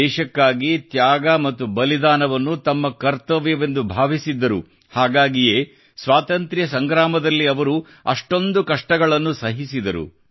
ದೇಶಕ್ಕಾಗಿ ತ್ಯಾಗ ಮತ್ತು ಬಲಿದಾನವನ್ನು ತಮ್ಮ ಕರ್ತವ್ಯವೆಂದು ಭಾವಿಸಿದ್ದರು ಹಾಗಾಗಿಯೇ ಸ್ವಾತಂತ್ರ್ಯ ಸಂಗ್ರಾಮದಲ್ಲಿ ಅವರು ಅಷ್ಟೊಂದು ಕಷ್ಟಗಳನ್ನು ಸಹಿಸಿದರು